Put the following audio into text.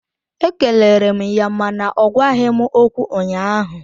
Ekelere m ya mana ọ gwaghị m okwu ụnyaahụ